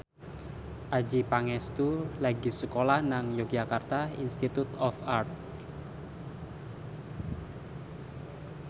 Adjie Pangestu lagi sekolah nang Yogyakarta Institute of Art